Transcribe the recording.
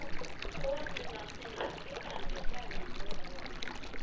Konunnar þinnar. fyrrverandi, sagði hún og lokaði augunum.